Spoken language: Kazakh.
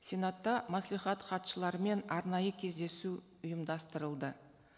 сенатта мәслихат хатшыларымен арнайы кездесу ұйымдастырылды